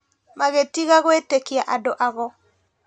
Magĩtiga gwĩtĩkia andũ ago